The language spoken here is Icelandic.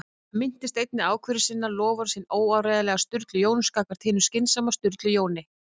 Hann minnist einnig ákvörðunar sinnar- loforðs hins óáreiðanlega Sturlu Jóns gagnvart hinum skynsama Sturlu Jóni